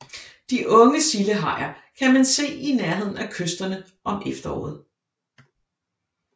De unge sildehajer kan man se i nærheden af kysterne om efteråret